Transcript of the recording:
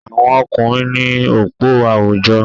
Àwọn ọkùnrin ní òpó àwùjọ.